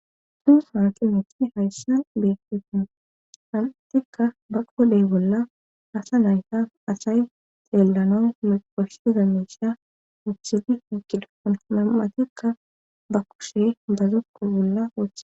suu sanqi meti hayssan beetefin nam7atikka ba qooley bolla asa naytas asay xeellanon miqoshsiza miisha wuthidi ekidaon nam7atikka ba kushe bazukku bolla octhe